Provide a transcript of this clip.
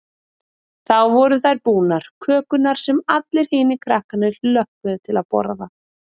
Þá voru þær búnar, kökurnar sem allir hinir krakkarnir hlökkuðu til að borða.